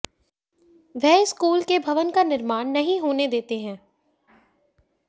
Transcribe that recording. वह इस स्कूल के भवन का निर्माण नहीं होने देते हैं